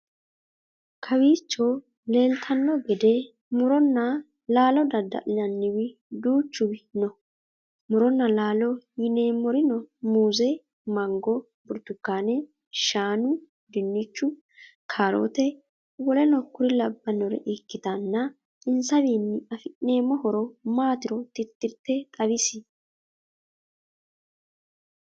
Kowicho leeltanno gede Muronna laalo dadda'linnanniwi duuchuw no. Muronna laalo yineemmorino muuze, mango, burutukane, shaanu, dinichu, kaarote w.k.l ikkitanna insawinni afi'neemmo horo maatiro titirte xawis?